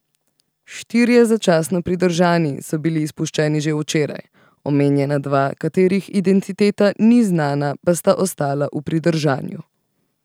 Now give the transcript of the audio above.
Štirje začasno pridržani so bili izpuščeni že včeraj, omenjena dva, katerih identiteta ni znana, pa sta ostala v pridržanju.